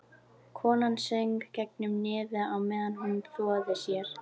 Konan söng gegnum nefið á meðan hún þvoði sér.